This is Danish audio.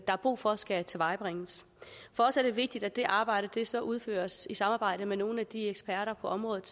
er brug for skal tilvejebringes for os er det vigtigt at det arbejde så udføres i samarbejde med nogle af de allerdygtigste eksperter på området